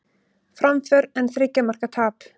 Framför en þriggja marka tap